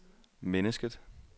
mennesket